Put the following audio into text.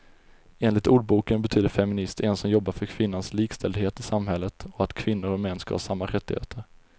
Enligt ordboken betyder feminist en som jobbar för kvinnans likställdhet i samhället och att kvinnor och män ska ha samma rättigheter.